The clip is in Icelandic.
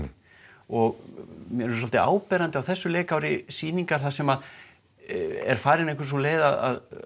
og mér finnst svolítið áberandi á þessu leikári sýningar þar sem farin er sú leið að